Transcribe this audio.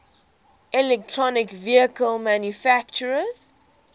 electric vehicle manufacturers